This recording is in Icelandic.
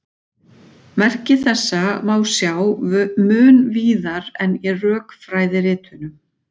Merki þessa má sjá mun víðar en í rökfræðiritunum.